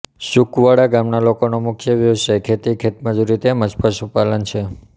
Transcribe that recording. સુકવળા ગામના લોકોનો મુખ્ય વ્યવસાય ખેતી ખેતમજૂરી તેમ જ પશુપાલન છે